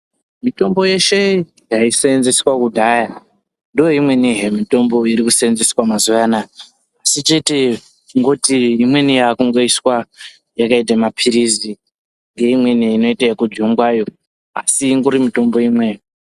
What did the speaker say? Mitombo yeshe yaiseenzeswe kudhaya ndiyo imwenihe mitombo iri kuseenzeswa mazuwa anaa asi kuti imweni yakungoiswa yakaita mapirizi neimweni inoita ekujungwayo asi ingori itombo imweyo.